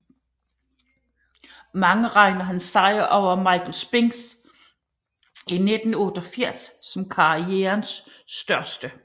Mange regner hans sejr over Michael Spinks i 1988 som karrierens største